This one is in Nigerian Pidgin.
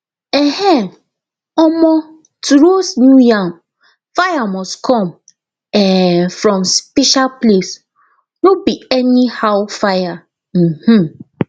um um to roast new yam fire must come um from special place no be anyhow fire um